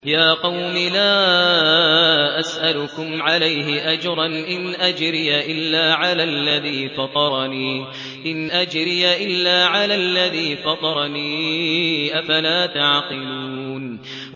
يَا قَوْمِ لَا أَسْأَلُكُمْ عَلَيْهِ أَجْرًا ۖ إِنْ أَجْرِيَ إِلَّا عَلَى الَّذِي فَطَرَنِي ۚ أَفَلَا تَعْقِلُونَ